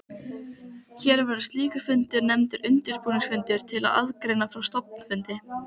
Hér verður slíkur fundur nefndur undirbúningsfundur til aðgreiningar frá stofnfundi.